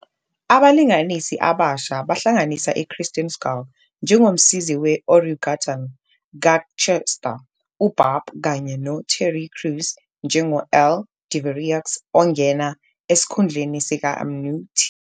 Abalingisi abasha bahlanganisa Kristen Schaal njengomsizi we-orangutan ka-Chester, u-Barb, kanye no-Terry Crews njengo-Earl Devereaux, ongena esikhundleni sika-Mnu. T.